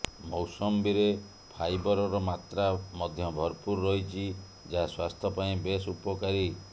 ମୌସମ୍ବିରେ ଫାଇବରର ମାତ୍ରା ମଧ୍ୟ ଭରପୂର ରହିଛି ଯାହା ସ୍ବାସ୍ଥ୍ୟ ପାଇଁ ବେଶ୍ ଉପକାରୀ